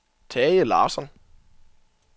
Tage Larsson